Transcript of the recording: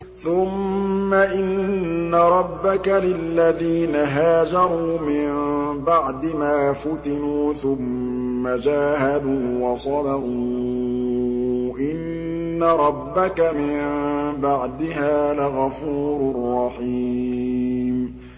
ثُمَّ إِنَّ رَبَّكَ لِلَّذِينَ هَاجَرُوا مِن بَعْدِ مَا فُتِنُوا ثُمَّ جَاهَدُوا وَصَبَرُوا إِنَّ رَبَّكَ مِن بَعْدِهَا لَغَفُورٌ رَّحِيمٌ